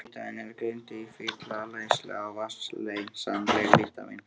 Vítamín eru greind í fituleysanleg og vatnsleysanleg vítamín.